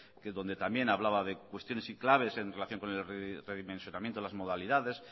que es donde también hablaba de cuestiones y claves en relación con el redimensionamiento de las modalidades